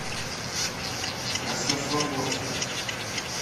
краснослободска